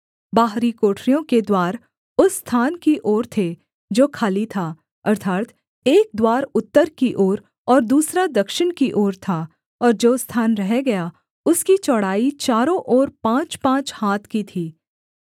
बाहरी कोठरियों के द्वार उस स्थान की ओर थे जो खाली था अर्थात् एक द्वार उत्तर की ओर और दूसरा दक्षिण की ओर था और जो स्थान रह गया उसकी चौड़ाई चारों ओर पाँचपाँच हाथ की थी